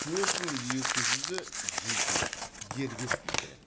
төрт мың екі жүзі жеке дербес тілдер